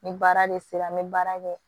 Ni baara de sera n bɛ baara kɛ